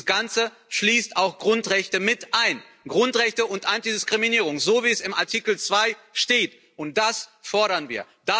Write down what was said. Dieses Ganze schließt auch Grundrechte mit ein, Grundrechte und Antidiskriminierung, so wie es im Artikel 2 steht, und das fordern wir.